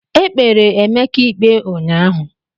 Ekpere Emeka ikpe unyaahụ.